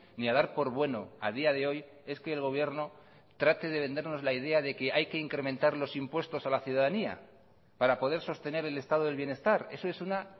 ni a dar por bueno a día de hoy es que el gobierno trate de vendernos la idea de que hay que incrementar los impuestos a la ciudadanía para poder sostener el estado del bienestar eso es una